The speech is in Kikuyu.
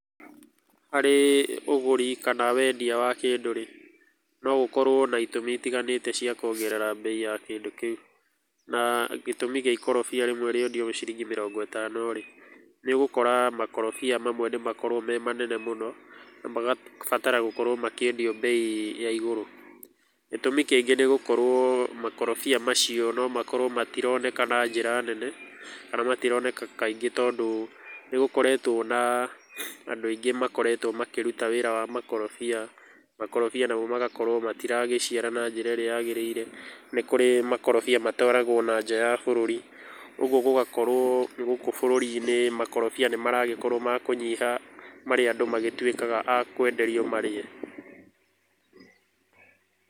Harĩ ũgũri kana wendia wa kĩndũ-rĩ, no gũkorwo na itũmi itiganĩte cia kuongerera mbei ya kĩndũ kĩu. Na gĩtũmi kĩa mũkorobia rĩmwe rĩendio ciringi mĩrongo ĩtano-rĩ, nĩ ũgũkora makorobia mamwe nĩ makoragwo me manene mũno, na magabatara gũkorwo makĩendio bei ya igũrũ. Gĩtũmi kĩngĩ nĩ gũkorwo makorobia macio no makorwo matironeka na njĩra nene, kana matironeka kaingĩ, tondũ nĩ gũkoretwo na andũ aingĩ makoretwo makĩruta wĩra wa makorobia, makorobia namo magakorwo matiraciara na njĩra ĩrĩa yagĩrĩire. Nĩ kũrĩ makorobia matwaragwo o na nja wa bũrũri, ũguo gũgakorwo gũkũ bũrũri-inĩ makorobia nĩ maragĩkorwo ma kũnyiha, marĩa andũ magĩtuĩkaga a kwenderio marĩe.